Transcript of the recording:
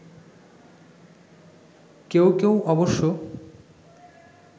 কেউ কেউ অবশ্য